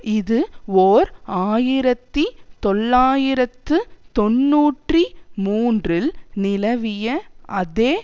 இது ஓர் ஆயிரத்தி தொள்ளாயிரத்து தொன்னூற்றி மூன்றில் நிலவிய அதே